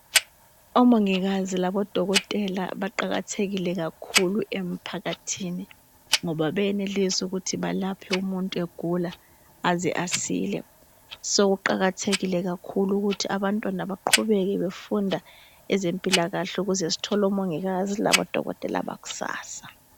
Omongikazi labo dokotela baqakathekile kakhulu emphakathini, ngoba beyenelisa ukuthi belaphe umuntu egula aze asile. So kuqakathekile kakhulu ukuthi abantwana baqhubeke befunda ezempilakahle ukuze sithole omongikazi labo dokotela bakusasa.